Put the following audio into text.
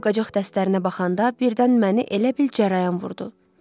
Qab-qacaq dəstlərinə baxanda birdən məni elə bil cərəyan vurdu.